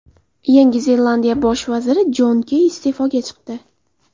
Yangi Zelandiya bosh vaziri Jon Key iste’foga chiqdi.